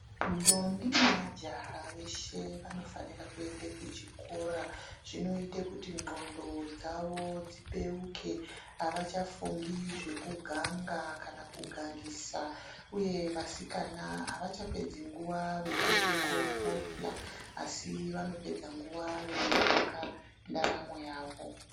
Ntombi nemajaha veshe vanofanira kuende kuchikora zvinoite kuti ndxondo dzavo dzibeuke avachafungi zvekuganga kana kugangisa uye vasikana avachapedzi nguwa veienda kofuhla asi vanopedza nguwa veiaka ndaramo yavo.